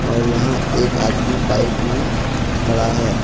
और यहां एक आदमी बाइक में खड़ा है।